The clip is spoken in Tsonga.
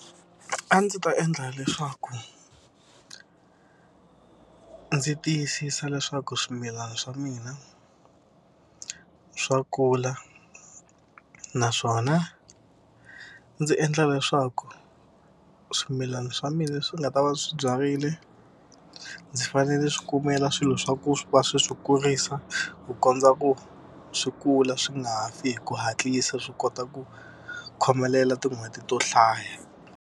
A ndzi ta endla leswaku ndzi tiyisisa leswaku swimilana swa mina swa kula naswona ndzi endla leswaku swimilana swa mina leswi nga ta va swi byarile ndzi fanele swi kumela swilo swa ku va swi swi kurisa ku kondza ku swi kula swi nga fi hi ku hatlisa swi kota ku khomelela tin'hweti to hlaya.